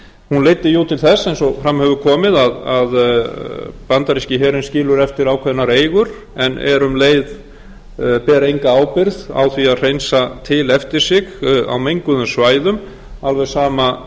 hún leiddi jú til þess eins og fram hefur komið að bandaríski herinn skilur eftir ákveðnar eigur en ber enga ábyrgð á því að hreinsa til eftir sig á menguðum svæðum alveg sama